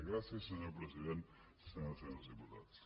gràcies senyora presidenta senyores i senyors diputats